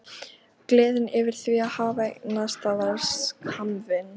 Gleðin yfir því að hafa eignast það var skammvinn.